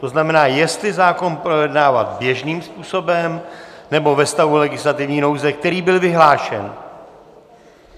To znamená, jestli zákon projednávat běžným způsobem, nebo ve stavu legislativní nouze, který byl vyhlášen.